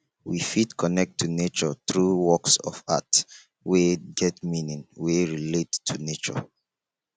we fit connect to nature through works of art wey get meaning wey relate to nature